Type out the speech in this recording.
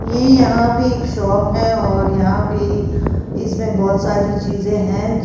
ये यहां पे एक शॉप है और यहां पे इसमें बहोत सारी चीजे हैं कि--